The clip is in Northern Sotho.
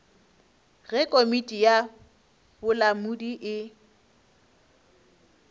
ge komiti ya bolamodi e